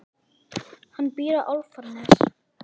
Hann býr á Álftanesi.